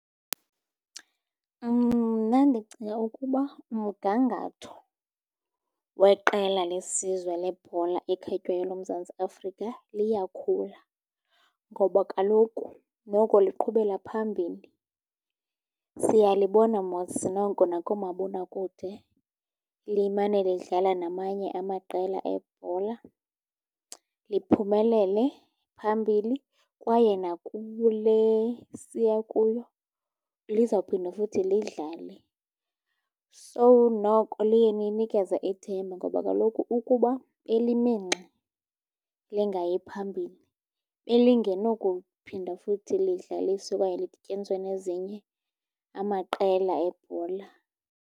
Mna ndicinga ukuba umgangatho weqela lesizwe lebhola ekhatywayo loMzantsi Afrika liyakhula, ngoba kaloku noko liqhubela phambili. Siyalibona mos noko nakoomabonakude limane lidlala namanye amaqela ebhola, liphumelele phambili, kwaye nakule siya kuyo lizawuphinda futhi lidlale. So, noko liye linikeze ithemba ngoba kaloku ukuba belimi ngxi, lingayi phambili belingenokuphinda futhi lidlaliswe okanye lidtyaniswe nezinye amaqela ebhola.